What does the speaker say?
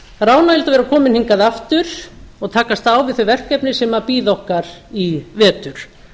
það er ánægjulegt að vera komin hingað aftur og takast á við þau verkefni sem bíða okkar í vetur